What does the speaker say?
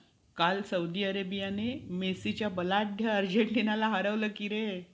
काल सौदी अरेबियाने मेस्सी च्या बलाढ्य अर्जेन्टिनाला हरवलं कि रे.